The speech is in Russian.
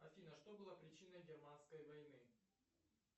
афина что было причиной германской войны